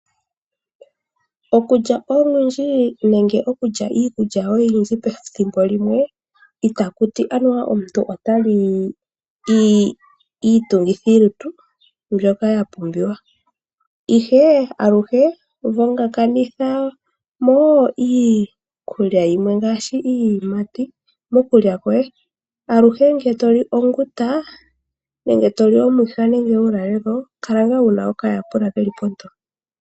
Okulya olundji nenge okulya iikulya iikulya oyindji pethimbo limwe ita kuti omuntu ota li iitungithilutu mbyoka mbupiwa aluhe vongakanitha mo iitungithilutu ngaa shi iiyimati aluhe ngele toli onguta nenge toli uulalelo kala wuna po oka ta pula keli ponto.